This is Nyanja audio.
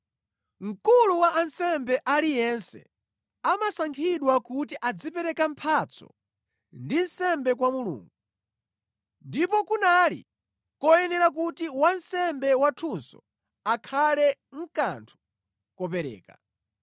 Mkulu wa ansembe aliyense amasankhidwa kuti azipereka mphatso ndi nsembe kwa Mulungu, ndipo kunali koyenera kuti wansembe wathunso akhale nʼkanthu kopereka.